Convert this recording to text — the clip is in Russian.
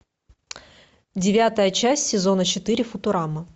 девятая часть сезона четыре футурама